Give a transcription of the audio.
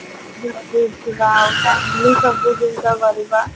ଜଲଦି ଉଠିବା ଆଉ time ରେ ସବୁ ଜିନିଷ କରିବା